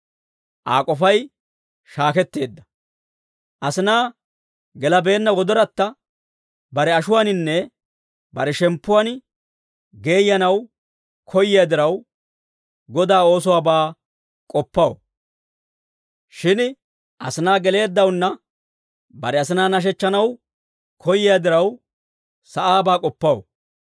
Aa k'ofay shaaketteedda. Asinaa gelabeenna gellayatta bare ashuwaaninne bare shemppuwaan geeyyanaw koyyiyaa diraw, Godaa oosuwaabaa k'oppaw. Shin asinaa geleeddawunna bare asinaa nashechchanaw koyyiyaa diraw, sa'aabaa k'oppaw.